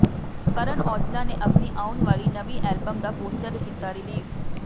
ਕਰਨ ਔਜਲਾ ਨੇ ਆਪਣੀ ਆਉਣ ਵਾਲੀ ਨਵੀਂ ਐਲਬਮ ਦਾ ਪੋਸਟਰ ਕੀਤਾ ਰਿਲੀਜ਼